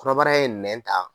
Kɔnɔbara ye nɛn ta,